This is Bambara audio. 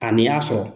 A n'i y'a sɔrɔ